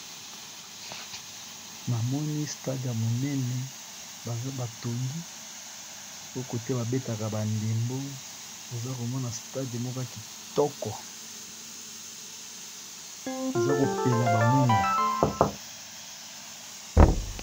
Na moni stade ya monene baza batongi oyo kote babetaka ba ndembo, oza komona stade moka kitoko oza kopela ba mwinda.